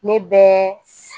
Ne bɛ